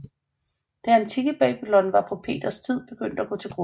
Det antikke Babylon var på Peters tid begyndt at gå til grunde